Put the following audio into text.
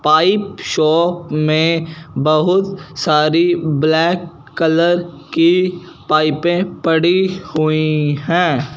Pipe shop में बहुत सारी ब्लैक कलर की पाइपें पड़ी हुई हैं।